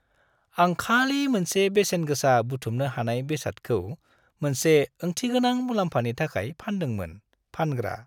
आं खालि मोनसे बेसेनगोसा बुथुमनो हानाय बेसादखौ मोनसे ओंथिगोनां मुलाम्फानि थाखाय फानदोंमोन। (फानग्रा)